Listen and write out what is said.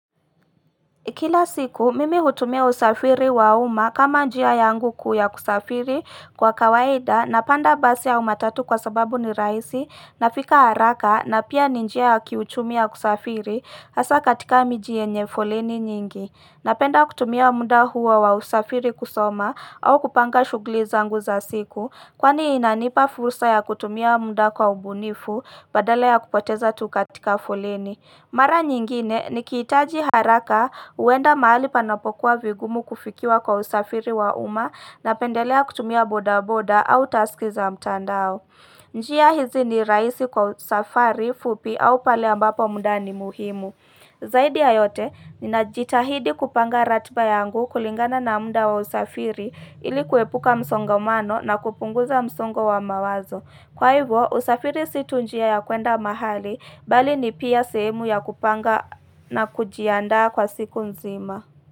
Kila siku, mimi hutumia usafiri wa uma kama njia yangu kuu ya kusafiri kwa kawaida na panda basi au matatu kwa sababu ni rahisi nafika haraka na pia ni njia ya kiuchumi ya kusafiri hasa katika miji yenye foleni nyingi. Napenda kutumia muda huo wa usafiri kusoma au kupanga shugli zangu za siku kwani inanipa fursa ya kutumia muda kwa ubunifu badala ya kupoteza tu katika foleni. Mara nyingine nikihitaji haraka huenda mahali panapokuwa vigumu kufikiwa kwa usafiri wa umma napendelea kutumia bodaboda au taski za mtandao. Njia hizi ni rahisi kwa safari, fupi au pale ambapo muda ni muhimu. Zaidi ya yote, ninajitahidi kupanga ratba yangu kulingana na muda wa usafiri ilikuepuka msongamano na kupunguza msongo wa mawazo. Kwa hivo, usafiri situ njia ya kuenda mahali, bali ni pia sehemu ya kupanga na kujiandaa kwa siku nzima.